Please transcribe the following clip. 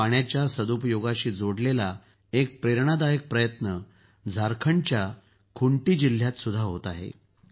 पाण्याच्या सदुपयोगाशी जोडलेला एक प्रेरणादायक प्रयत्न झारखंडच्या खुंटी जिल्ह्यातही होत आहे